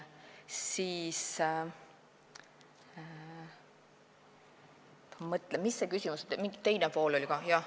Mis selle küsimuse teine pool oli?